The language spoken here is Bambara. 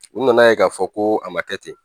U nana ye k'a fɔ ko a ma kɛ ten